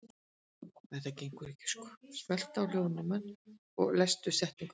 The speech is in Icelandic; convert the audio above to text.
Hvað, hvaða veganesti förum við með inn í framtíðina eftir, eftir þingið?